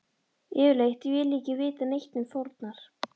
Yfirleitt vil ég ekki vita neitt um fórnar